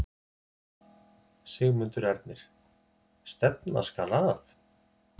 Sigmundur Ernir: Stefna skal að?